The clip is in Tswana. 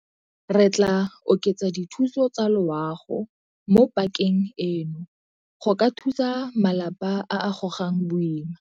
Re tla oketsa dithuso tsa loago mo pakeng eno go ka thusa malapa a a gogang boima.